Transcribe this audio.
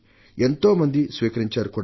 ఎంతో మంది దీనిని స్వీకరించారు కూడా